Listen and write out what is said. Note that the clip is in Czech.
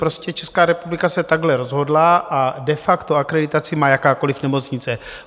Prostě Česká republika se takhle rozhodla a de facto akreditaci má jakákoli nemocnice.